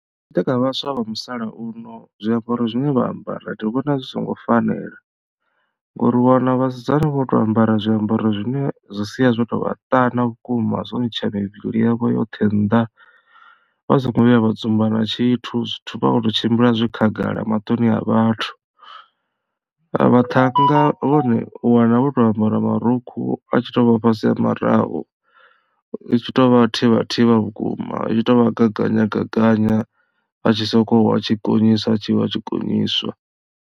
Zwitshiḓa kha vhaswa vha musalauno zwiambaro zwine vha ambara ndi vhona zwi songo fanela ngori u wana vhasidzana vho to ambara zwiambaro zwine zwi sia zwo tovha ṱana vhukuma zwo ntsha mivhili yavho yoṱhe nnḓa vha so ngo vhuya vha dzumba na tshithu zwithu vha khou tou tshimbila zwi khagala maṱoni a vhathu. Vhaṱhannga vhone u wana vho to ambara marukhu a tshi to vha fhasi ha maraho hu tshi tovha thivhathivha vhukuma zwi tshi to vha gaganywa gaganywa a tshi sokou wa tshi gonyiswa a tshi wa a tshi gonyiswa.